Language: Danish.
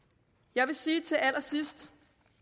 jeg vil sige til allersidst